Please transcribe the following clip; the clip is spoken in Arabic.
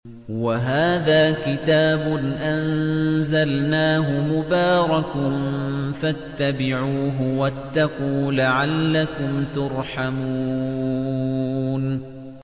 وَهَٰذَا كِتَابٌ أَنزَلْنَاهُ مُبَارَكٌ فَاتَّبِعُوهُ وَاتَّقُوا لَعَلَّكُمْ تُرْحَمُونَ